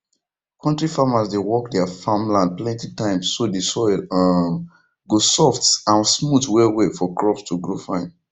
kontri farmers dey work their farm land plenty times so the soil um go soft and smooth wellwell for crops to grow fine